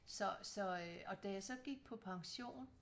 Så så øh og da jeg så gik på pension